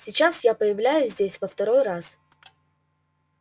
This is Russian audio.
сейчас я появляюсь здесь во второй раз